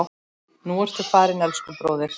Nú ertu farinn, elsku bróðir.